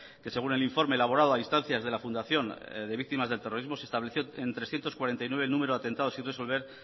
que según el informe elaborado a instancias de la fundación de víctimas del terrorismo se estableció en trescientos cuarenta y nueve el número de atentados sin resolver